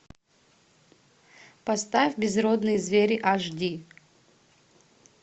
поставь безродные звери аш ди